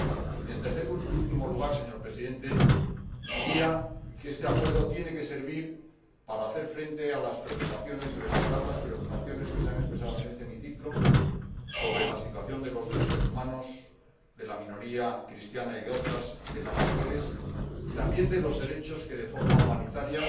Y, en tercer y último lugar, señor Presidente, diría que este Acuerdo tiene que servir para hacer frente a las preocupaciones y para respaldar las preocupaciones que se han expresado en este hemiciclo sobre la situación de los derechos humanos, de la minoría cristiana y de otras, de las mujeres, y también de los derechos que de forma humanitaria